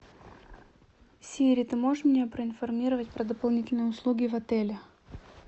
сири ты можешь меня проинформировать про дополнительные услуги в отеле